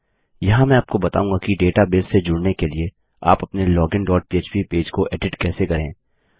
यहाँ मैं आपको बताऊँगा कि डेटाबेस से जुड़ने के लिए आप अपने लोगिन डॉट पह्प पेज को एडिट कैसे करें